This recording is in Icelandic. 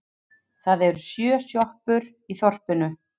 Það eru sjö sjoppur í þorpinu!